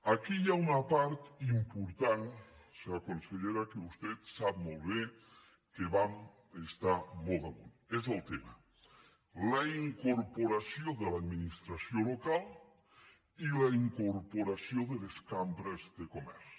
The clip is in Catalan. aquí hi ha una part important senyora consellera que vostè sap molt bé que vam estar hi molt damunt és el tema la incorporació de l’administració local i la incorporació de les cambres de comerç